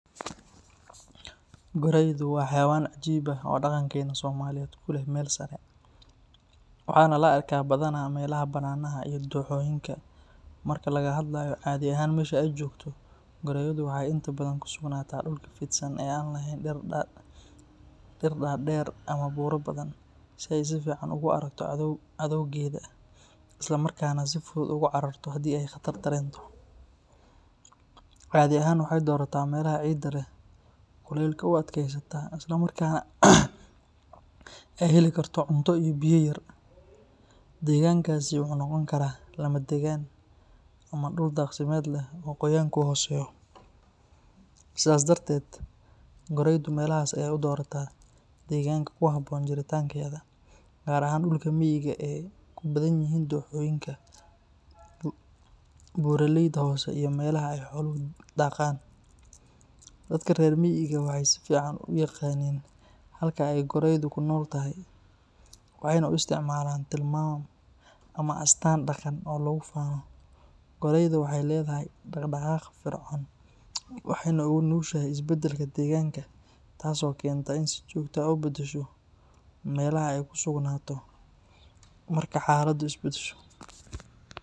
Goreydu waa xayawan cajib ah oo daqankena somaliyeed kuleh marki laga hadlayo melaha ee jogto inta badan waxee ku si ee u aragto cadowgeeda isla markas nah uga cararto hadii ee qatar aragto, segankasi wuxuu noqon karaa degan gaqmeed goreyu sas ayey u dorata dulka miga beera leyda hose dadka rer miga waxee u aqanan si sax ah halka ee goreydu ku noshahay meelah ee ku sugnato marka ee xaladu isbadasho.